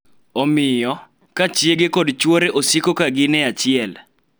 Omiyo, ka chiege kod chwore osiko ka gin e achiel .